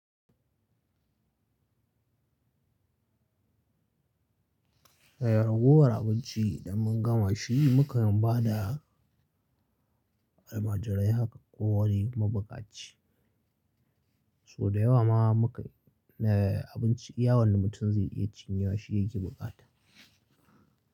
Da yaragowar abinci da mun gama shi, muke nan ba da almajirai haka ko wani mabukaci. So da yawa ma muka na abinci, iya wanda mutum zai iya cinyewa shi yake buƙata.